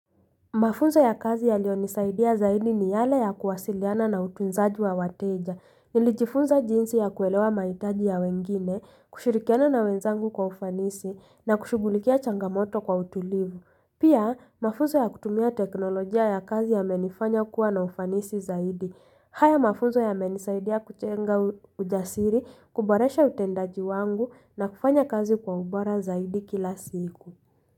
Mafunzo ya kazi yaliyonisaidia zaidi ni yale ya kuwasiliana na utunzaji wa wateja, nilijifunza jinsi ya kuelewa mahitaji ya wengine, kushirikiana na wenzangu kwa ufanisi, na kushughulikia changamoto kwa utulivu. Pia, mafunzo ya kutumia teknolojia ya kazi yamenifanya kuwa na ufanisi zaidi. Haya mafunzo yamenisaidia kujenga ujasiri, kuboresha utendaji wangu, na kufanya kazi kwa ubora zaidi kila siku.